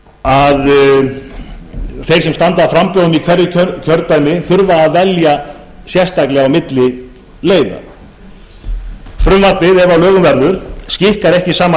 því að þeir sem standa að framboðum í hverju kjördæmi þurfi að velja sérstaklega á milli leiða frumvarpið ef að lögum verður skikkar flokka ekki til að hafa sama